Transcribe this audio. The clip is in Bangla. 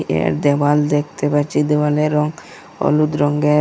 এর দেওয়াল দেখতে পাচ্ছি দেওয়ালের রং হলুদ রঙ্গের।